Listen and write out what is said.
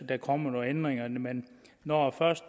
der kommer nogen ændringer men når